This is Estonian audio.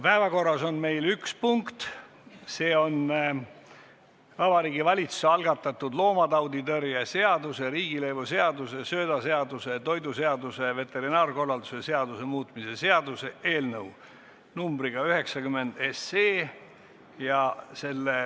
Päevakorras on meil üks punkt, see on Vabariigi Valitsuse algatatud loomatauditõrje seaduse, riigilõivuseaduse, söödaseaduse, toiduseaduse ja veterinaarkorralduse seaduse muutmise seaduse eelnõu 90.